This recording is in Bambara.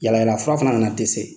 Yalayala fura fana nana dɛsɛ.